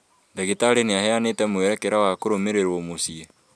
Ndagĩtarĩ nĩaheanĩte mwerekera wa kũrũmĩrĩrwo mũciĩ